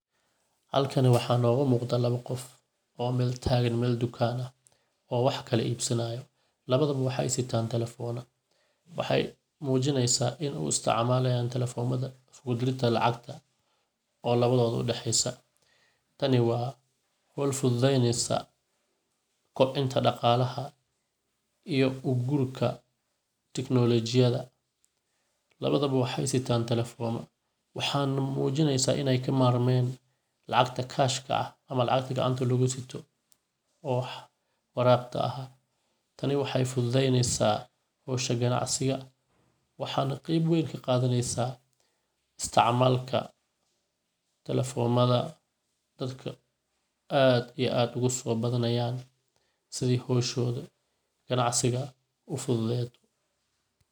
Halkan waxaa noga muqdaa laba qof oo Mel taagan, Mel tukan ah oo wax kala ibsanayo, labadodaba waxay sitaan talefoma, waxay muujineysa in uu isticmaalayan talefomada isku dirida lacagta oo labadoda udhaxeysa, tani waa howl fududeynesa kobcinta dhaqalah iyo ugurka teknolojidaya, labado waxay sitaan talefoma waxan muujineysa inay kamarmeyn lacagta kashka ama lacagta gacanta lugu sito wax waraqda ah taney waxay fududeyneysa howshan ganacsiga waxayna qeb weyn kaqadaneysa istacmaalka talefomada dadka aad iyo aad oguso badanayan sidii howsh9da ganacsiga ufududeyan .